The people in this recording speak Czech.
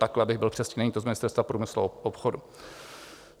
Takhle, abych byl přesný - není to z Ministerstva průmyslu a obchodu.